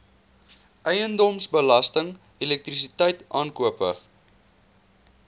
eiendomsbelasting elektrisiteit aankope